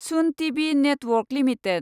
Sun TV network limited